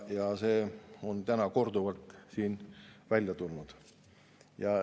See on täna siin korduvalt välja tulnud.